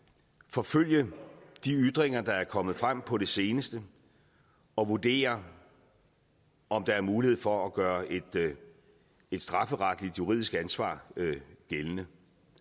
forfølge de ytringer der er kommet frem på det seneste og vurdere om der er mulighed for at gøre et strafferetligt juridisk ansvar gældende